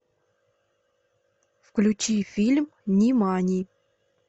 включи фильм нимани